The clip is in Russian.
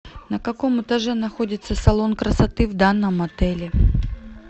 на каком этаже находится салон красоты в данном отеле